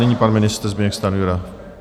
Nyní pan ministr Zbyněk Stanjura.